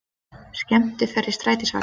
Skemmtiferð í strætisvagninum